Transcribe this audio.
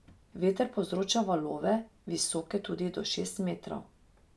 Veter povzroča valove, visoke tudi do šest metrov.